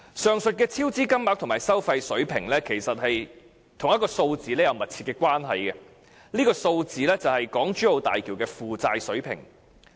上述超支金額及收費水平，其實與一個數字有密切關係，這個數字便是港珠澳大橋的負債水平。